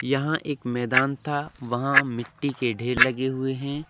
यहां एक मैदान था वहां मिट्टी के ढेर लगे हुए हैं।